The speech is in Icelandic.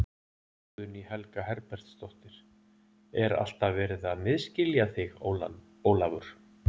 Guðný Helga Herbertsdóttir: Er alltaf verið að misskilja þig Ólafur?